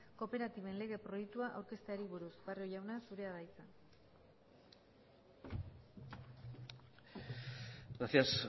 kooperatiben lege proiektua aurkezteari buruz barrio jauna zurea da hitza gracias